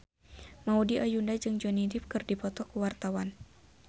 Maudy Ayunda jeung Johnny Depp keur dipoto ku wartawan